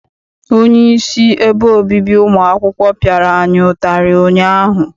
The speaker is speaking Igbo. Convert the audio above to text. Onyeisi ebe obibi ụmụ akwụkwọ piara anyị ụtarị ụnyaahụ.